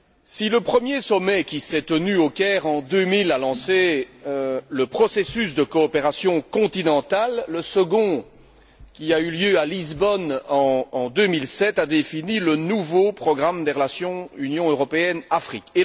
Si le premier sommet, qui s'est tenu au Caire en 2000, a lancé le processus de coopération continentale, le second, qui a eu lieu à Lisbonne en 2007, a défini le nouveau programme des relations Union européenne Afrique.